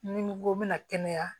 Ni ko n bɛna kɛnɛya